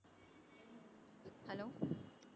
hello